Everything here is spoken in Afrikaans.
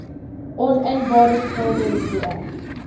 oninbare skulde hierbo